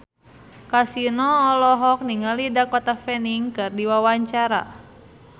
Kasino olohok ningali Dakota Fanning keur diwawancara